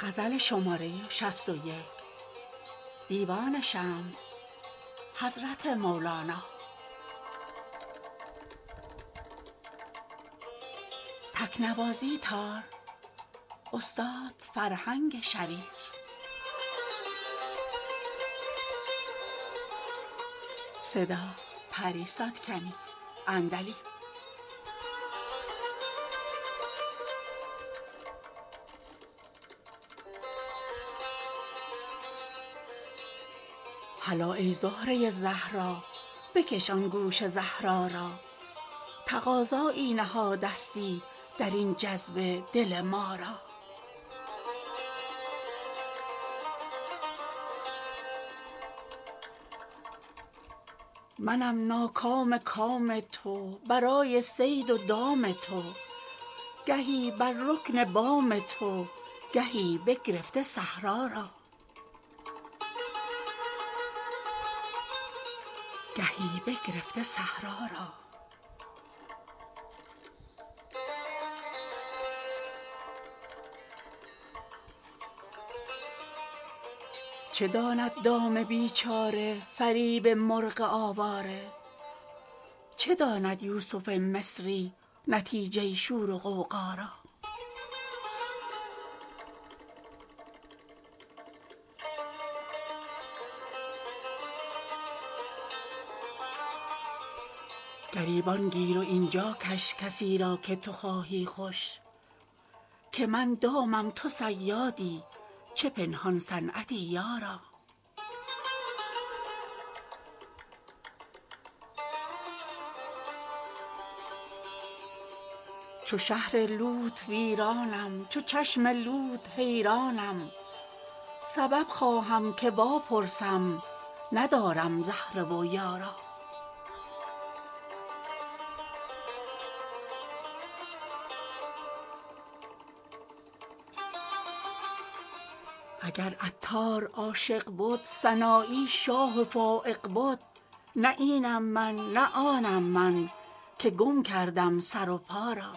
هلا ای زهره زهرا بکش آن گوش زهرا را تقاضایی نهادستی در این جذبه دل ما را منم ناکام کام تو برای صید و دام تو گهی بر رکن بام تو گهی بگرفته صحرا را چه داند دام بیچاره فریب مرغ آواره چه داند یوسف مصری نتیجه شور و غوغا را گریبان گیر و این جا کش کسی را که تو خواهی خوش که من دامم تو صیادی چه پنهان صنعتی یارا چو شهر لوط ویرانم چو چشم لوط حیرانم سبب خواهم که واپرسم ندارم زهره و یارا اگر عطار عاشق بد سنایی شاه و فایق بد نه اینم من نه آنم من که گم کردم سر و پا را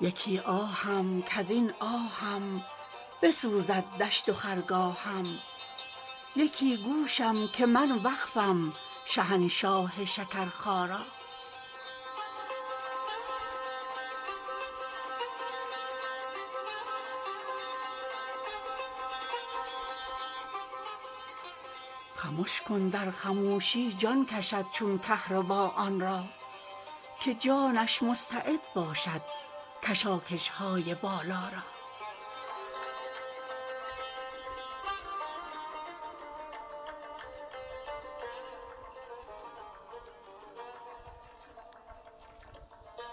یکی آهم کز این آهم بسوزد دشت و خرگاهم یکی گوشم که من وقفم شهنشاه شکرخا را خمش کن در خموشی جان کشد چون کهربا آن را که جانش مستعد باشد کشاکش های بالا را